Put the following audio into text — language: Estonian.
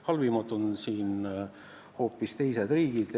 Halvimad on hoopis teised riigid.